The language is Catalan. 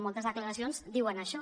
en moltes declaracions diuen això